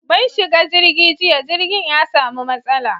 Mun shiga jirgi jiya, jirgin ya samu matsala